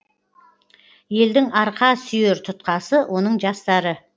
елдің арқа сүйер тұтқасы оның жастары